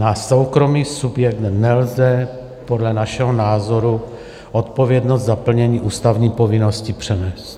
Na soukromý subjekt nelze podle našeho názoru odpovědnost za plnění ústavní povinnosti přenést.